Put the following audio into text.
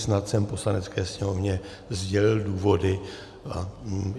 Snad jsem Poslanecké sněmovně sdělil důvody.